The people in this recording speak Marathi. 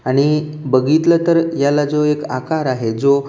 आणि बघितलं तर याला जो एक आकार आहे जो--